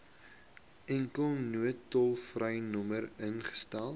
enkele noodtolvrynommer ingestel